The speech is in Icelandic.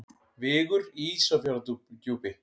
Vigur í Ísafjarðardjúpi.